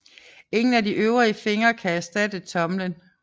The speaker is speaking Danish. Ingen af de øvrige fingre kan erstatte tommelen